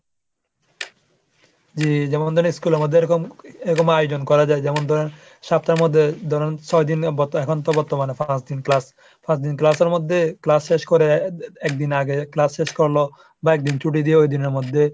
যে যেমন ধরুন school আমাদের এরকম এরকম আয়োজন করা যায় যেমন ধরুন সপ্তার মধ্যে ধরুন ছয়দিন এখন তো বর্তমানে পাঁচদিন class পাঁচদিন class এর মধ্যে class শেষ করে একদিন আগে class শেষ করলো বা একদিন ছুটি দিয়ে ওইদিনের মধ্যে